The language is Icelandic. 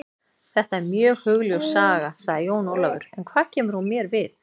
Þetta er mjög hugljúf saga, sagði Jón Ólafur, en hvað kemur hún mér við?